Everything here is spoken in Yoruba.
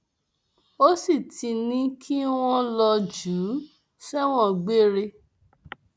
ó sì ti ní kí wọn lọọ jù ú sẹwọn gbére